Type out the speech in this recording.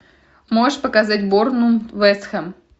можешь показать борнмут вест хэм